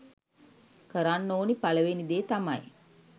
කරන්න ඕනි පළවෙනි දේ තමයි